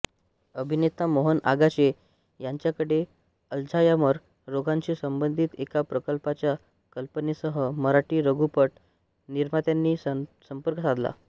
अभिनेता मोहन आगाशे यांच्याकडे अल्झायमर रोगाशी संबंधित एका प्रकल्पाच्या कल्पनेसह मराठी लघुपट निर्मात्यांनी संपर्क साधला